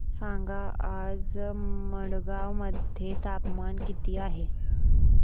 सांगा आज मडगाव मध्ये तापमान किती आहे